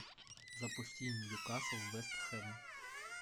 запусти ньюкасл вест хэм